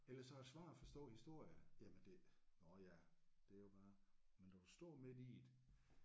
Ellers så er det svært at forstå historie jamen det nåh ja det er jo bare men når du står midt i det